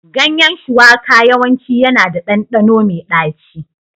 Ganyen shuwaka yawanci yana da ɗanɗano mai ɗaci.